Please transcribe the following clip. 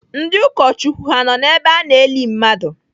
Ndị ụkọchukwu ha nọ n'ebe a na-eli mmadụ?